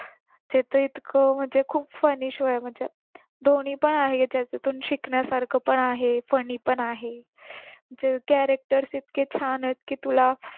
ते तर इतकं म्हणजे खूप funny show आहे म्हटलं दोन्ही पण आहे याच्यातून शिकण्यासारखं पण आहे funny पण आहे जे characters इतके छान आहेत की तुला